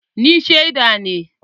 Ni sheda ne